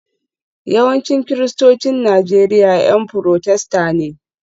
Yawancin Kiristocin Najeriya 'Yan Furotesta ne